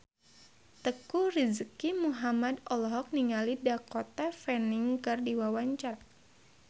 Teuku Rizky Muhammad olohok ningali Dakota Fanning keur diwawancara